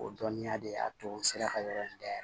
O dɔnniya de y'a to n sera ka yɔrɔ in dayɛlɛ